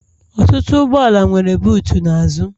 Ọtụtụ ụgbọala nwere butuu n'azụ